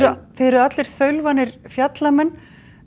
eruð allir þaulvanir fjallamenn